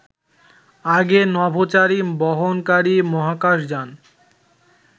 আগে নভোচারী বহনকারী মহাকাশ যান